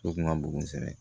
So kun ka bon kosɛbɛ